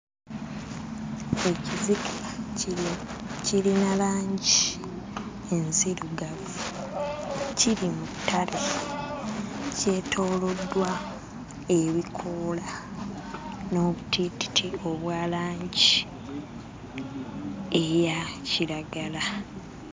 Ekizike kino kirina langi enzirugavu, kiri mu ttale kyetooloddwa ebikoola n'obutiititi obwa langi eya kiragala.